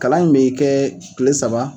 Kalan in bɛ kɛ tile saba